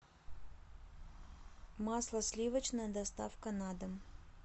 масло сливочное доставка на дом